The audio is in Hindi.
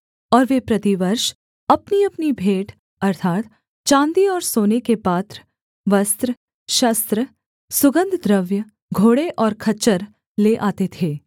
और वे प्रतिवर्ष अपनीअपनी भेंट अर्थात् चाँदी और सोने के पात्र वस्त्र शस्त्र सुगन्धद्रव्य घोड़े और खच्चर ले आते थे